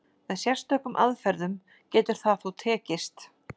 Með sérstökum aðferðum getur það þó tekist.